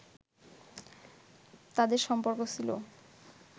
তাঁদের সম্পর্ক ছিল